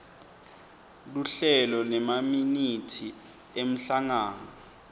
luhlelo nemaminithi emhlangano